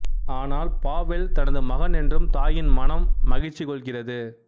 ஆனால் பாவெல் தனது மகன் என்று தாயின் மனம் மகிழ்ச்சி கொள்கிறது